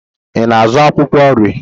Ị na-azụ akwụkwọ nri?